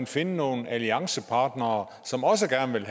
finde nogle alliancepartnere som også gerne vil